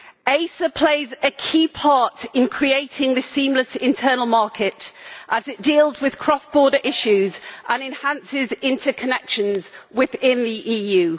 ACER plays a key part in creating the seamless internal market as it deals with cross-border issues and enhances interconnections within the EU.